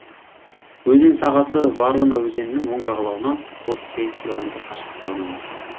өзен сағасы ворона өзенінің оң жағалауынан отыз сегіз километр қашықтықта орналасқан